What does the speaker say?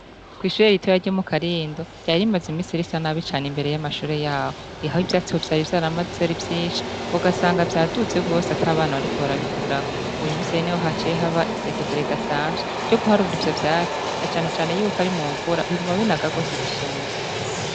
Ko'ishure ritoya rye mu karindo ryarimaze imisira isa nabi cane imbere y'amashore yawo ihahe ivyatsi bo vyara ivyaramazeara vyinshi bugasanga vyaduze wose atabana wariko barabikura uyu museene ho hacehe aba isekeza ridasanzwe ryo guharuura ivyo vyatsi na canecane yuko ari mu mvura biguma binagagosi gusumva.